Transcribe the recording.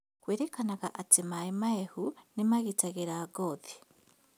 Kwĩrĩkanaga atĩ maĩ mahehu nĩ magĩtagĩra ngothi